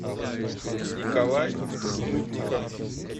николай снытников